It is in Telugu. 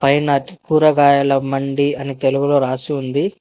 పైన కూరగాయల మండి అని తెలుగులో రాసి ఉంది.